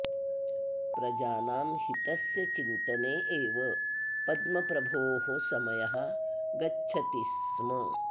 प्रजानां हितस्य चिन्तने एव पद्मप्रभोः समयः गच्छति स्म